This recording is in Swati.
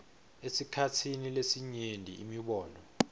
esikhatsini lesinyenti imibono